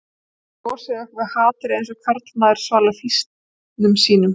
Þið losið ykkur við hatrið eins og karlmaður svalar fýsnum sínum